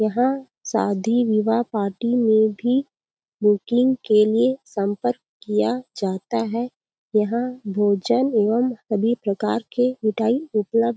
यहाँ शादी विवाह पार्टी में भी बुकिंग के लिए सम्पर्क किया जाता हे यहाँ भोजन एवं सभी प्रकार के मिठाई उपलब्ध--